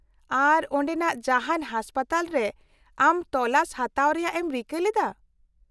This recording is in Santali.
-ᱟᱨ ,ᱚᱸᱰᱮᱱᱟᱜ ᱡᱟᱦᱟᱱ ᱦᱟᱥᱯᱟᱛᱟᱞ ᱨᱮ ᱟᱢ ᱛᱚᱞᱟᱥ ᱦᱟᱛᱟᱣ ᱨᱮᱭᱟᱜ ᱮᱢ ᱨᱤᱠᱟᱹ ᱞᱮᱫᱟ ?